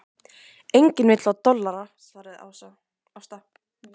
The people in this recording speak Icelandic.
Eigandinn vill fá dollara, svaraði Ásta.